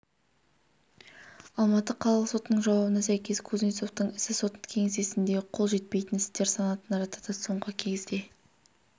алматы қалалық сотының жауабына сәйкес кузнецовтың ісі сот кеңсесінде қол жетпейтін істер санатына жатады соңғы кезге